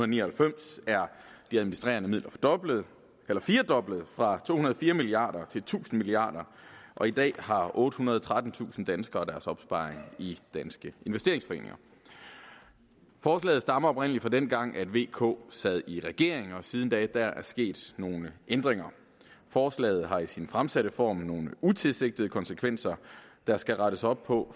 ni og halvfems er de administrerede midler firedoblet fra to hundrede og fire milliarder til tusind milliarder og i dag har ottehundrede og trettentusind danskere deres opsparing i danske investeringsforeninger forslaget stammer oprindelig fra dengang da v k sad i regering og siden da er der sket nogle ændringer forslaget har i sin fremsatte form nogle utilsigtede konsekvenser der skal rettes op på